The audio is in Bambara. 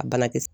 A balaki